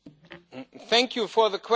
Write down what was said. Thank you for the question.